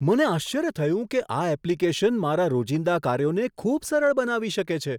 મને આશ્ચર્ય થયું કે આ એપ્લિકેશન મારા રોજિંદા કાર્યોને ખૂબ સરળ બનાવી શકે છે.